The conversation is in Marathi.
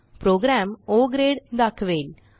प्रोग्रॅम ओ ग्रेड दाखवेल